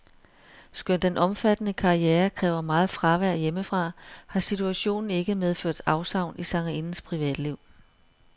Skønt den omfattende karriere kræver meget fravær hjemmefra, har situationen ikke medført afsavn i sangerindens privatliv.